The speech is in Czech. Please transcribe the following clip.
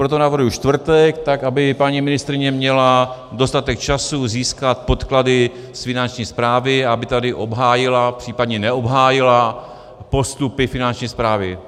Proto navrhuji čtvrtek, tak aby paní ministryně měla dostatek času získat podklady z Finanční správy a aby tady obhájila, případně neobhájila, postupy Finanční správy.